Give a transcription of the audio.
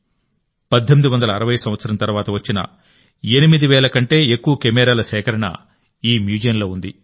1860 వ సంవత్సరం తర్వాత వచ్చిన 8 వేల కంటే ఎక్కువ కెమెరాల సేకరణ ఈ మ్యూజియంలో ఉంది